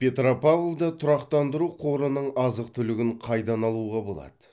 петропавлда тұрақтандыру қорының азық түлігін қайдан алуға болады